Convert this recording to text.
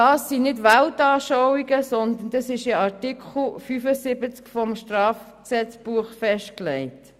Das sind nicht Weltanschauungen, sondern das ist in Artikel 75 des Strafgesetzbuches festgelegt.